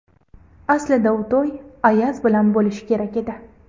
Aslida u to‘y Ayaz bilan bo‘lishi kerak edi.